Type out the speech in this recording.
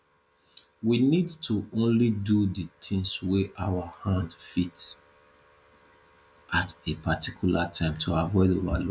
we need to only do di tins wey our hand fit at a particular time to avoid overload